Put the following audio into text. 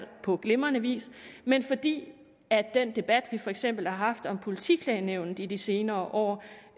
på glimrende vis men fordi den debat vi for eksempel har haft om politiklagenævnene i de senere år